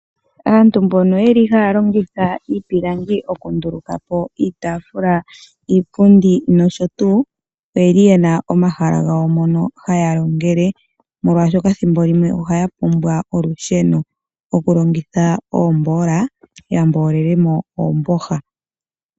Aantu mbono yeli haya longitha iipilangi okundulukapo iitaafula, iipundi nosho tuu . Oyeli yena omahala gawo mono haya longele molwaashoka thimbo limwe ohaya pumbwa olusheno okulongitha oomboola ya mboolele mo oomboha.